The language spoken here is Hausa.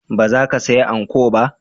Ba za ki saya anko ba?